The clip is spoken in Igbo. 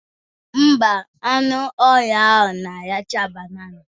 Ḿbà, anụ ọhịa ahụ na-aracha banana